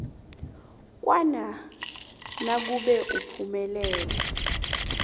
kwanac nakube uphumelele